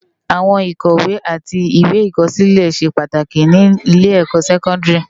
Áwòn ikòwé ati iwé ikòsilé sé pàtáki ni ilé èkò sèkòndári